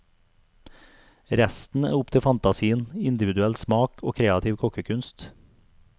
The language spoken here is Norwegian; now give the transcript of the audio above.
Resten er opp til fantasien, individuell smak og kreativ kokkekunst.